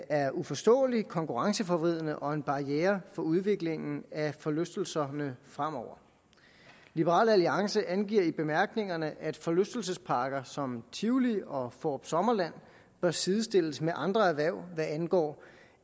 er uforståelig konkurrenceforvridende og en barriere for udviklingen af forlystelserne fremover liberal alliance angiver i bemærkningerne at forlystelsesparker som tivoli og fårup sommerland bør sidestilles med andre erhverv hvad angår